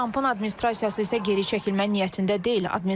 Donald Trampın administrasiyası isə geri çəkilmək niyyətində deyil.